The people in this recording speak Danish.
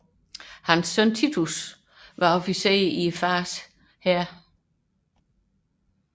Sønnen Titus var officer i faderens hær